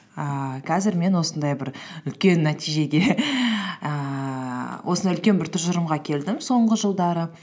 ііі қазір мен осындай бір үлкен нәтижеге ііі осындай үлкен бір тұжырымға келдім соңғы жылдары